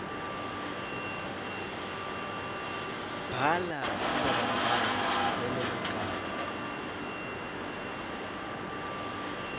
bhala indzabambhalo lenemagama